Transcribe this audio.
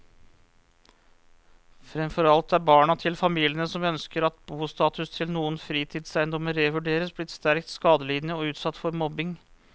Fremfor alt er barna til familiene som ønsker at bostatus til noen fritidseiendommer revurderes, blitt sterkt skadelidende og utsatt for mobbing.